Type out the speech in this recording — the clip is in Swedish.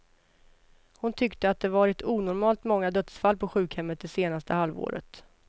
Hon tyckte att det varit onormalt många dödsfall på sjukhemmet det senaste halvåret.